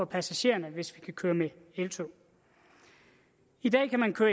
passagererne hvis vi kan køre med eltog i dag kan man køre